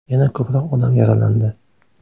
Yana ko‘proq odam yaralandi.